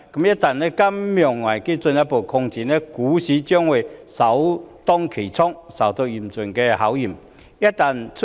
一旦金融危機進一步擴展，股市將會首當其衝，受到嚴峻的考驗。